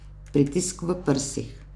Pritisk v prsih.